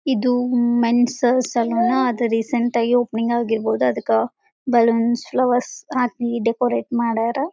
ಇದು men's salon ಅದ recent ಆಗಿ ಓಪನಿಂಗ್ ಆಗಿರಬಹುದು ಅದಕ್ಕ ಬಲೂನ್ಸ್ ಫ್ಲವರ್ಸ್ ಹಾಕಿ ಡೆಕೋರಟ್ ಮಾಡ್ಯಾರ.